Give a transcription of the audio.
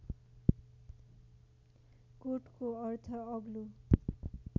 कोटको अर्थ अग्लो